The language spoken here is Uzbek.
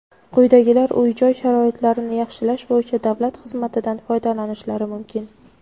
quyidagilar uy-joy sharoitlarini yaxshilash bo‘yicha davlat xizmatidan foydalanishlari mumkin:.